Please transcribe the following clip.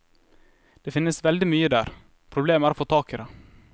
Det finnes veldig mye der, problemet er å få tak i det.